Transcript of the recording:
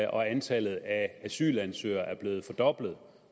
og antallet af asylansøgere er blevet fordoblet